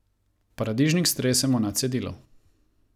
Paradižnik stresemo na cedilo.